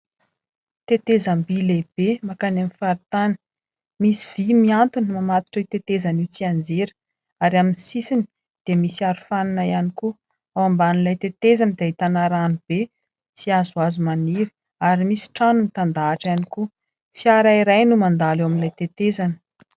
Tetezam-bỳ lehibe mankany amin'ny faritany misy vỳ miantona mamatotra io tetezana io tsy hianjera ary amin'ny sisiny dia misy arofanina ihany koa. Ao ambanin'ilay tetezana dia ahitana rano be sy hazo hazo maniry ary misy trano mitan-dahatra ihany koa. Fiara iray no mandalo ao amin'ilay tetezana.